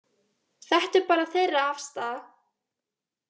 Þetta er bara þeirra afstaða